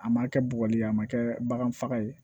A ma kɛ bɔgɔ ye a ma kɛ bagan faga ye